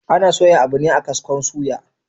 Ana soya abu ne a kaskon suya